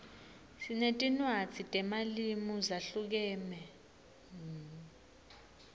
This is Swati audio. sinetinwadzi temalimu zahlukeme